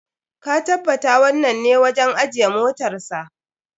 Ka tabbata wannan ne wajen ajiye motarsa.